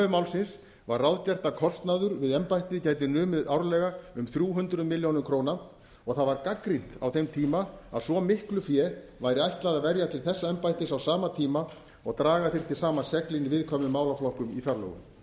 málsins var ráðgert að kostnaður við embættið gæti numið árlega um þrjú hundruð milljóna króna og það var gagnrýnt á þeim tíma að svo miklu fé væri ætlað að verja til þessa embættis á sama tíma og draga þyrfti saman seglin á viðkvæmum málaflokkum í